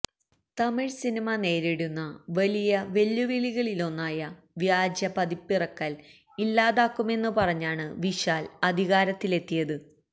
Tamil cinema നേരിടുന്ന വലിയ വെല്ലുവിളികളിലൊന്നായ വ്യാജ പതിപ്പിറക്കല് ഇല്ലാതാക്കുമെന്ന് പറഞ്ഞാണ് വിശാല് അധികാരത്തിലെത്തിയത്